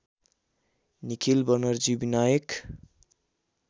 Nikhil Banerjee Vinayak